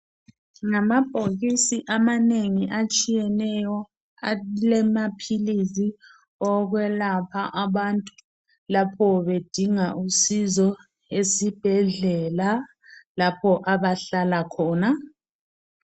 Ngamabhokisi amanengi atshiyeneyo alamaphilisi okwelapha abantu lapho bedinga usizio esibhedlela lapho abahlala khona